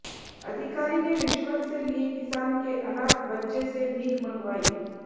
अधिकारी ने रिश्वत से लिए किसान के अनाथ बच्चे से भीख मंगवाई